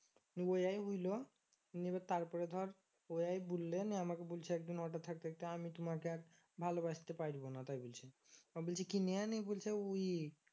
নিয়ে ওই হলো নিয়ে এবার তারপরে ধর ওইয়া বললে নিয়ে আমাকে বলছে একদিন হঠাৎ থাকতে থাকতে আমি তোমাকে আর ভালোবাসতে পারবো না তাই বলছি ওকে বলছি কেন নিয়ে বলছে ওই